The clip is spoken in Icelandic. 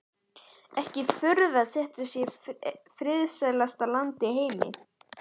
Ekki furða að þetta sé friðsælasta land í heimi.